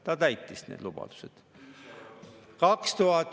Ta täitis need lubadused.